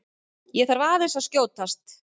ÉG ÞARF AÐEINS AÐ SKJÓTAST!